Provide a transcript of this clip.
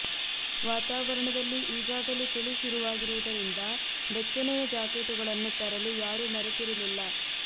ವಾತಾವರಣದಲ್ಲಿ ಈಗಾಗಲೇ ಚಳಿ ಶುರುವಾ ಗಿರುವುದರಿಂದ ಬೆಚ್ಚನೆಯ ಜಾಕೆಟ್ಟುಗಳನ್ನು ತರಲು ಯಾರೂ ಮರೆತಿರಲಿಲ್ಲ